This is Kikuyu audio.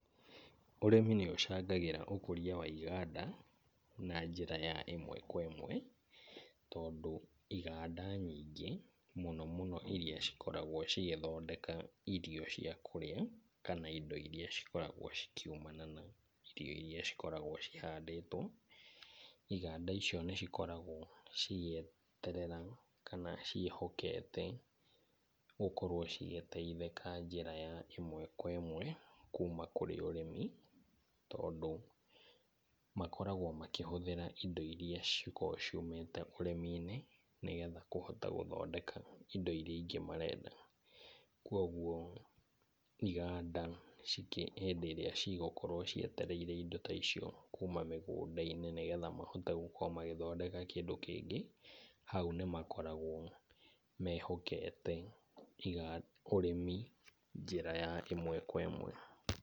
Ũrĩmi nĩ ũcangagĩra ũkũria wa iganda na njĩra ya ĩmwe kwa ĩmwe tondũ iganda nyingĩ mũno mũno irĩa cikoragwo cigĩthondeka irio cia kũrĩa kana indo irĩa cikoragwo cikiumana na irio irĩa cikoragwo cihandĩtwo. Iganda icio nĩ cikoragwo cigĩeterera kana ciĩhokete gũkorwo cigĩteithĩka njĩra ya ĩmwe kwa ĩmwe kuuma kũrĩ ũrĩmi. Tondũ makoragwo makĩhũthĩra indo irĩa cikoragwo ciumĩte ũrĩmi-inĩ, nĩgetha kũhota gũthondeka indo irĩa ingĩ marenda. Kwoguo iganda hĩndĩ ĩrĩa cigũkorwo cietereire indo ta icio kuuma mĩgunda-inĩ nĩgetha mahote gũkorwo magĩthondeka kĩndũ kĩngĩ. Hau nĩ makoragwo mehokete ũrĩmi njĩra ya ĩmwe kwa ĩmwe.